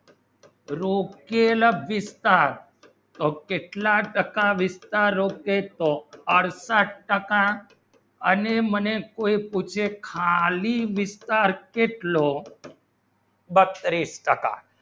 રૂખી નો વિસ્તાર ટાર કેટલા ટક્કા વિસ્તાર રોકે તો અડસઠ ટક્કા અને મને કોઈ પૂછે ખાલી વિસ્તાર કેટલો બત્રીસ ટક્કા